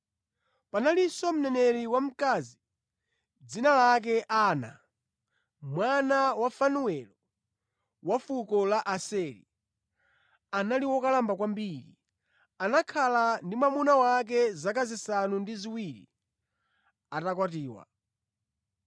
Panalinso mneneri wamkazi, dzina lake Ana, mwana wa Fanuelo, wa fuko la Aseri. Anali wokalamba kwambiri; anakhala ndi mwamuna wake zaka zisanu ndi ziwiri atakwatiwa,